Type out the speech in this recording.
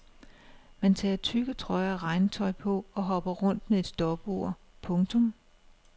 Man tager tykke trøjer og regntøj på og hopper rundt med et stopur. punktum